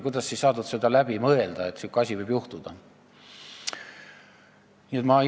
Kuidas ei saanud seda läbi mõelda, et selline asi võib juhtuda?